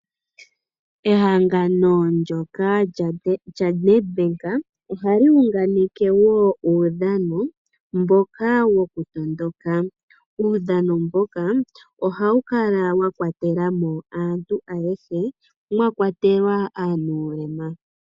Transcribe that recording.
Ehangano ndyoka lyaNedbank ohali uunganeke wo uudhano, mboka wokutondoka. Uudhano mboka ohawu kala wakwatela mo aantu ayehe mwakwatelwa aanulema.